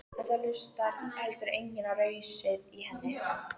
En það hlustaði heldur enginn á rausið í henni.